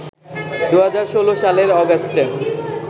২০১৬ সালের অগাস্টে